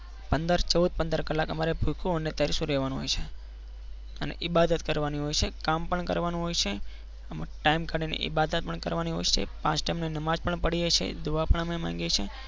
પંદર ચૌદ પંદર કલાક અમારે ભૂખ્યો અને તરસ્યું રહેવાનું હોય છે અને ઈબાદત કરવાની હોય છે કામ પણ કરવાનું હોય છે time કાઢીને ઈબાદત પણ કરવાની હોય છે પાંચ time ની નમાજ પણ પડીએ છીએ દુઆ પણ અમે માંગીએ છીએ.